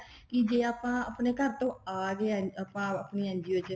ਕੇ ਆਪਾਂ ਆਪਣੇ ਘਰ ਤੋਂ ਆ ਰਹੇ ਆ ਆਪਾਂ ਆਪਣੀ NGO ਚ